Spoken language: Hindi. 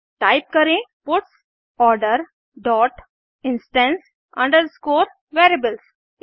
टाइप करें puts order dot instance underscore variables